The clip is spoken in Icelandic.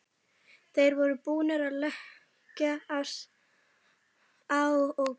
Þeir voru búnir að leggja á og biðu.